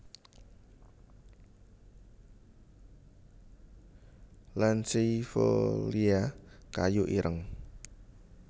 lanceifolia kayu ireng